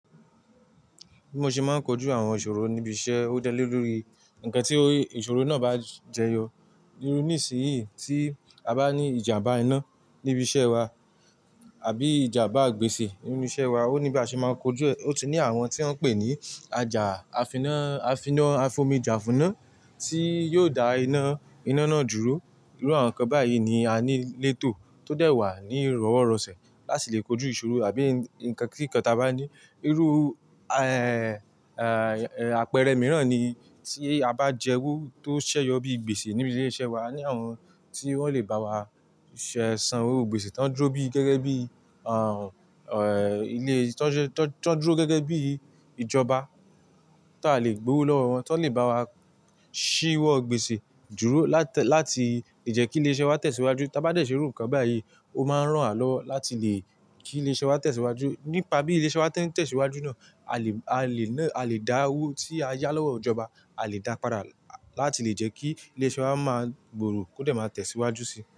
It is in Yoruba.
Bí mo ṣe máa ń kojú àwọn ìṣòro níbi iṣẹ́, ó dálé lórí ǹkan tí ìṣòro náà bá jẹyọ. Irú níisìnyí tí a bá ní ìjàmbá iná níbi iṣẹ́ wa àbí ìjàmbá gbèsè nínú iṣẹ́ wa, ó ní bá ṣe máa kojú ẹ. Ó tí ní àwọn tí wọ́n ń pè ní ajà, àfiná, àfiná, afomi jàfúná tí yóò dá iná iná náà dúró. Irú àwọn nǹkan báyìí ni a ní létò tó dẹ̀ wà ní ìrọ̀wọ́ ìrọ̀sẹ̀ láti lè kojú ìṣòro àbí ǹkan kí nkan tí a bá ní. Irú, ẹ́ẹ́, ẹ́ẹ́ àpẹẹrẹ mìíràn ni tí a bá jẹ owó tó ṣẹyọ bíi gbèsè níbi ilé iṣẹ́ wa, ní àwọn tí wọ́n lè bá wa ṣé san iru gbèsè tán dúró bíi gẹ́gẹ́ bí, àhùn, ẹ́ẹ́, ilé, tán dúró gẹ́gẹ́ bí ìjọba ti a lè gbówó lọ́wọ́ wọn tan lè bá wa ṣíwọ́ gbèsè dúró láti lè jẹ́ kí ilé iṣẹ́ wa tẹ̀síwájú. Tá bá dẹ̀ ṣe irú nǹkan báyìí ó máa ń rán wa lọ láti lè kí ilé iṣẹ́ wa tẹ̀síwájú. Nípa bí ilé iṣẹ́ wa tin tẹ̀síwájú náà, a lè ná, a lè dá owó tí a yá lọ́wọ́ ìjọba, a lè dá padà láti lè jẹ́ kí ilé iṣẹ́ wa máa gbòòrò kó dẹ̀ máa tẹ̀síwájú síi.